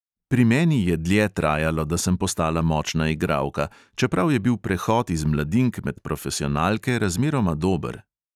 Pri meni je dlje trajalo, da sem postala močna igralka, čeprav je bil prehod iz mladink med profesionalke razmeroma dober.